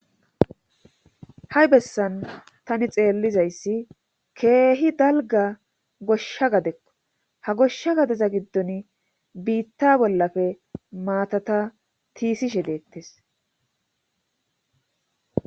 ha7i bessan tani xeellizayssi keehi dalga goshsha gadekko ha goshsha gadeza giddon biitta bollafe maatata tiisishe deettes